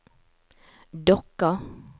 Dokka